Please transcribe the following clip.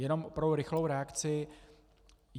Jenom pro rychlou reakci.